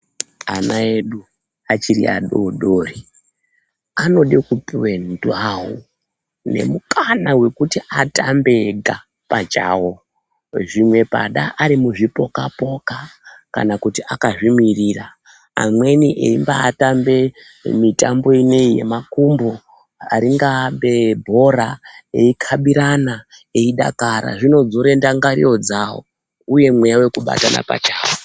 Ana edu achiri adodori, anode kupuwa ndau nemukana wokuti atambe ega pachawo, zvimwe pada ari muzvipoka-poka, kana kuti akazvimirira, amweni eyimbatambe mitambo ineyi yemakumbo, ringaambe bhora yeikabirana eyidakara, zvinodzore ndangariro dzavo uye mweya wekubatana pachawo.